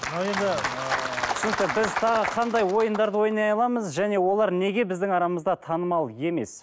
ал енді ы түсінікті біз тағы қандай ойындарды ойнай аламыз және олар неге біздің арамызда танымал емес